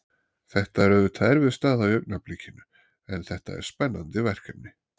Þetta er auðvitað erfið staða í augnablikinu en þetta er spennandi verkefni.